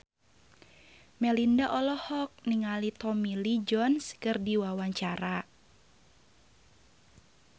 Melinda olohok ningali Tommy Lee Jones keur diwawancara